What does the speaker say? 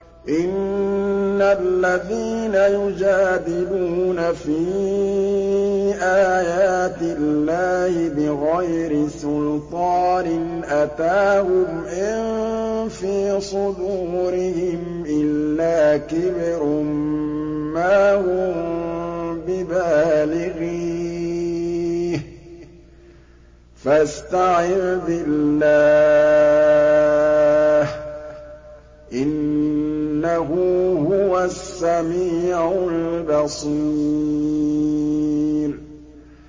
إِنَّ الَّذِينَ يُجَادِلُونَ فِي آيَاتِ اللَّهِ بِغَيْرِ سُلْطَانٍ أَتَاهُمْ ۙ إِن فِي صُدُورِهِمْ إِلَّا كِبْرٌ مَّا هُم بِبَالِغِيهِ ۚ فَاسْتَعِذْ بِاللَّهِ ۖ إِنَّهُ هُوَ السَّمِيعُ الْبَصِيرُ